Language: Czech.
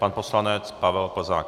Pan poslanec Pavel Plzák.